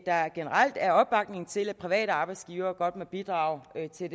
der generelt er opbakning til at private arbejdsgivere godt må bidrage til